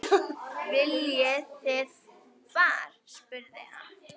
Viljið þið far? spurði hann.